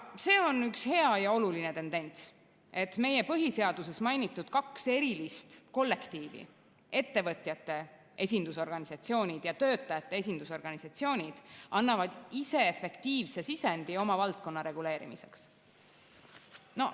See on üks hea ja oluline tendents, et meie põhiseaduses mainitud kaks erilist kollektiivi, ettevõtjate esindusorganisatsioonid ja töötajate esindusorganisatsioonid, annavad ise efektiivse sisendi oma valdkonna reguleerimiseks.